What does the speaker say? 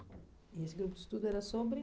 E esse grupo de estudo era sobre?